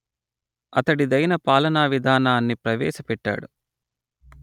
అతడిదైన పాలనా విధానాన్ని ప్రవేశపెట్టాడు